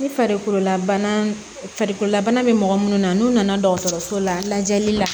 Ni farikolola bana farikolola bana bɛ mɔgɔ minnu na n'u nana dɔgɔtɔrɔso la lajɛli la